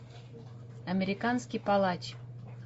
американский палач